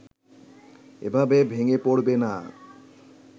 এভাবে ভেঙ্গে পড়বে না